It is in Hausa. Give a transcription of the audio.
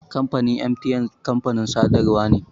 Kamfanin MTN kamfanin sadarwa ne.